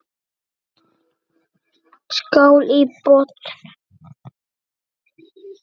Skál í botn!